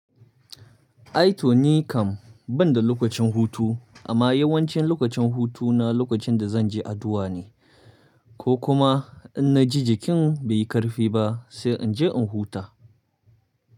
I to ni kam banda lokacin hutu amma yawancin lokacin hutu na lokacin da zan je addu'a ne ko kuma in na ji jikin bai yi ƙarfi ba sai in je in huta.